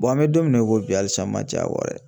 an bɛ don min na i ko bi halisa n man j'a kɔ dɛ.